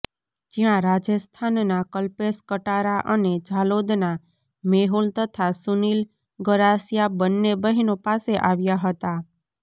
જ્યાં રાજસ્થાનના કલ્પેશ કટારા અને ઝાલોદના મેહુલ તથા સુનિલ ગરાસિયા બંને બહેનો પાસે આવ્યા હતા